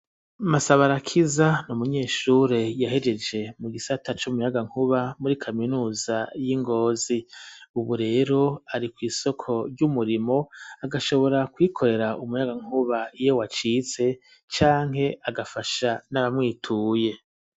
Masabarakiza n'umunyeshure yahejeje mu gisata c'umuyagankuba muri kaminuza y'ingozi, ubu rero ari kw'isoko ry'umurimo agashobora kwikorera umuyagankuba iwe wacitse canke agafasha n'abamwituye.